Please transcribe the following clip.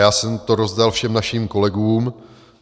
Já jsem to rozdal všem našim kolegům.